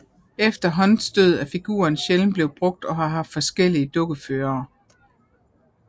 Efter Hunts død er figuren sjældent blevet brugt og har haft forskellige dukkeførere